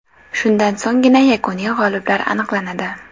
Shundan so‘nggina yakuniy g‘oliblar aniqlanadi.